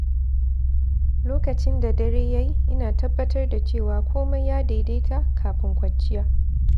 Lokacin da dare ya yi, ina tabbatar da cewa komai ya daidaita kafin kwanciya.